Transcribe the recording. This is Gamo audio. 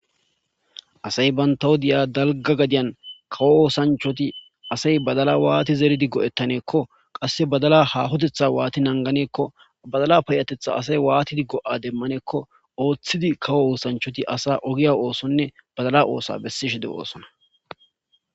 Asay banta wodiyan dalga osanchati kawo osanchati badala wanidi zeri go'etaneko qase badala hahotetha wati nanganeko badala payatetha asay wati nanganeko oothidi kawo osanchati badala osuwa besishe dosona